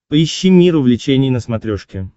поищи мир увлечений на смотрешке